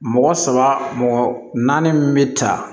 Mɔgɔ saba mɔgɔ naani min bɛ ta